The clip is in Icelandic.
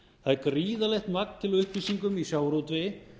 það er gríðarlegt magn til af upplýsingum í sjávarútvegi